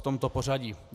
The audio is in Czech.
V tomto pořadí.